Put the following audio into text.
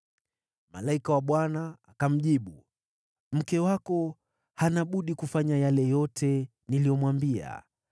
Malaika wa Bwana akamjibu, “Mke wako hana budi kufanya yale yote niliyomwambia.